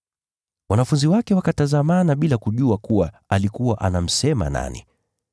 Wanafunzi wake wakatazamana bila kujua kuwa alikuwa anamsema nani.